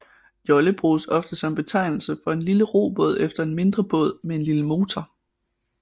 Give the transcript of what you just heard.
Jolle bruges ofte som betegnelse for en lille robåd eller en mindre båd med en lille motor